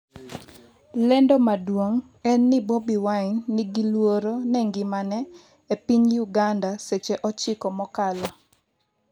lendo maduong' en ni Bobi Wine 'ni gi luoro ne ngimane' e piny Uganda seche 9 mokalo